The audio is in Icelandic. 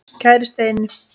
Kæri Steini.